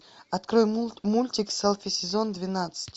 открой мультик селфи сезон двенадцать